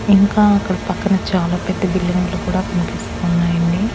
ఇంకా అక్కడ పక్కన చాలా పెద్ద బిల్డింగులు కూడా కన్పిస్తూ ఉన్నాయండి.